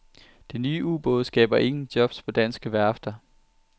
De nye ubåde skaber ingen jobs på danske værfter.